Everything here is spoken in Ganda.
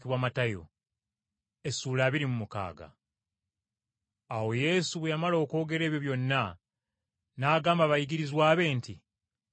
Awo Yesu bwe yamala okwogera ebyo byonna, n’agamba abayigirizwa be nti,